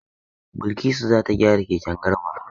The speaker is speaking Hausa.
Balkisu za ta gyara keken Garba.